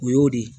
O y'o de ye